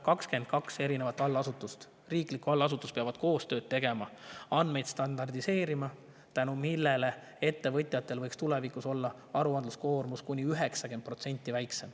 22 riiklikku allasutust peab koostööd tegema ja andmeid standardiseerima, tänu millele ettevõtjatel võiks tulevikus olla aruandluskoormus kuni 90% väiksem.